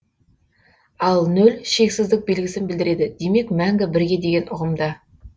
ал нөл шексіздік белгісін білдіреді демек мәңгі бірге деген ұғымда